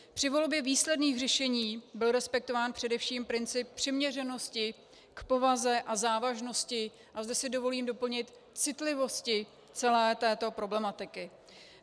Při volbě výsledných řešení byl respektován především princip přiměřenosti k povaze a závažnosti, a zde si dovolím doplnit, citlivosti celé této problematiky.